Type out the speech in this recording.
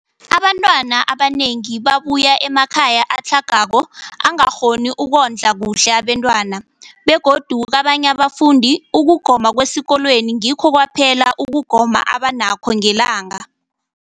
Abantwana abanengi babuya emakhaya atlhagako angakghoni ukondla kuhle abentwana, begodu kabanye abafundi, ukugoma kwesikolweni ngikho kwaphela ukugoma abanakho ngelanga.